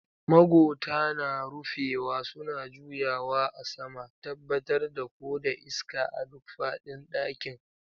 Magota na rufewa suna juyawa a sama, tabbatar da ko da iska a duk faɗin ɗakin.